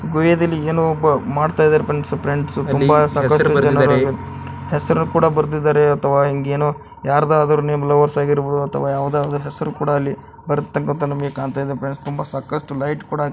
ಗುಹೆ ಧಲ್ಲಿ ಏನೋ ಒಬ್ಬ ಮಾಡ್ತಾ ಇದಾರೆ ಫ್ರೆಂಡ್ಸ್ ಫ್ರೆಂಡ್ಸ್ ಹೆಸರು ಕೂಡ ಬರ್ದಿದಾರೆ ಅಥವಾ ಇಂಗ ಏನಾದ್ರು ಏನೋ ಎರ್ದಾದ್ರೂ ನಿಮ್ ಲವರ್ಸ್ ಆಗಿರ್ಬೋದು ಅಥವಾ ಎರ್ದಾದ್ರೂ ಎಸ್ರು ಕೂಡ ಬರ್ದಿದು ನಿಮಗೆ ಕಾಣ್ತಾ ಇದೆ ಫ್ರೆಂಡ್ಸ್ ತುಂಬ ಸಾಕಷ್ಟು ಲೈಟ್ ಕೂಡ--